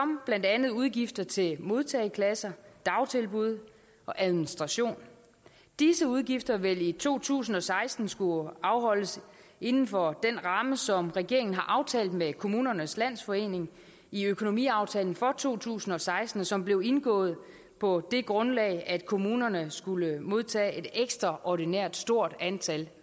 blandt andet udgifter til modtageklasser dagtilbud og administration disse udgifter vil i to tusind og seksten skulle afholdes inden for den ramme som regeringen har aftalt med kommunernes landsforening i økonomiaftalen for to tusind og seksten som blev indgået på det grundlag at kommunerne skulle modtage et ekstraordinært stort antal